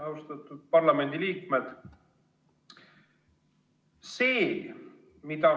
Austatud parlamendiliikmed!